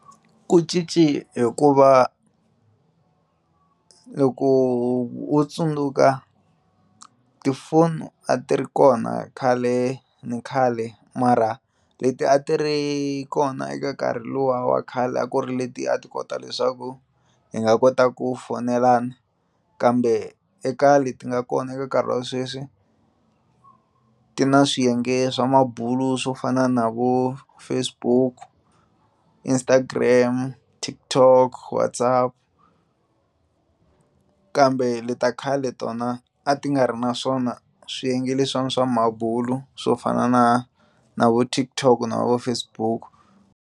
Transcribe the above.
Ku cinci hikuva loko wo tsundzuka tifoni a ti ri kona khale na khale mara leti a ti ri kona eka nkarhi luwa wa khale a ku ri leti a ti kota leswaku hi nga kota ku foyinelana kambe eka leti nga kona eka nkarhi wa sweswi ti na swiyenge swa mabulo swo fana na vo Facebook Instagram Tik-Tok Whatsapp kambe leti ta khale tona a ti nga ri na swona swiyenge leswiwani swa mabulo swo fana na na vo Tik-Tok na vo Facebook.